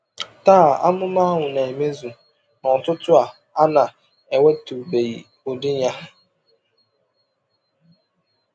Taa, amụma ahụ na-emezu n’ọ̀tụ̀tụ̀ a na-enwetụbeghị ụdị ya.